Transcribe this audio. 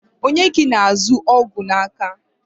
Onye ka ị na-azụ ọgwụ n'aka?